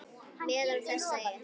Meðal þess er